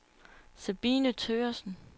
Sabine Thøgersen